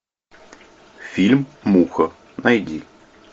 фильм муха найди